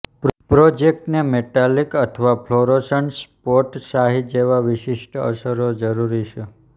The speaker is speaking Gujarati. પ્રોજેક્ટને મેટાલિક અથવા ફ્લોરોસન્ટ સ્પોટ શાહી જેવા વિશિષ્ટ અસરો જરૂરી છે